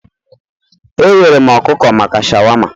Ehere m ọkụkọ maka shawama